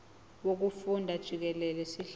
wokufunda jikelele sihlose